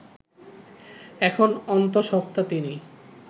এখন অন্তঃসত্ত্বা তিনি